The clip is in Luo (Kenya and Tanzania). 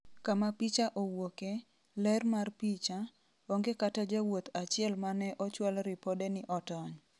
kama picha owuoke, ler mar picha ,onge kata jawuoth achiel mane ochwal ripode ni otony